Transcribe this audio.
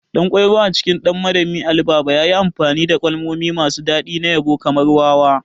Ɗankwairo a cikin 'Ɗan Madami Ali Baba' yayi amfani da kalmomi masu daɗi na yabo kamar "wawa".